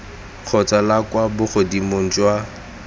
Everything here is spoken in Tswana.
kgotsa la kwa bogodimong jwa